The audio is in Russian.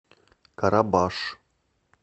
карабаш